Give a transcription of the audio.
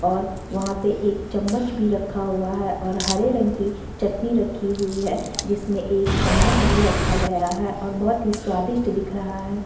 और वहाँ पे एक चम्मच भी रखा हुआ है और हरे रंग की चटनी रखी हुई है जिसमें एक चम्मच भी रखा गया है और बहोत ही स्वादिष्ट दिख रहा है।